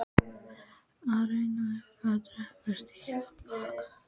Þau renna upp að drekanum og stíga af baki.